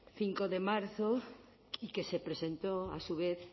cinco de marzo y que se presentó a su vez